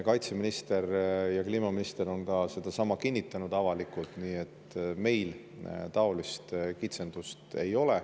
Kaitseminister ja kliimaminister on avalikult sedasama kinnitanud, nii et meil taolist kitsendust ei ole.